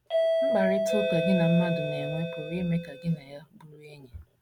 Mkparịta ụka gị na mmadụ na - enwe pụrụ ime ka gị na ya bụrụ enyi.